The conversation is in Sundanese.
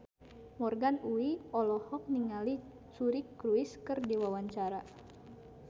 Morgan Oey olohok ningali Suri Cruise keur diwawancara